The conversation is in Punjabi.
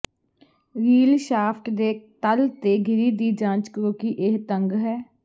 ਰੀੱਲ ਸ਼ਾਫਟ ਦੇ ਤਲ ਤੇ ਗਿਰੀ ਦੀ ਜਾਂਚ ਕਰੋ ਕਿ ਇਹ ਤੰਗ ਹੈ